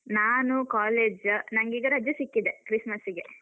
ನಾನು college , ನಂಗೀಗ ರಜೆ ಸಿಕ್ಕಿದೆ, Christmas ಗೆ.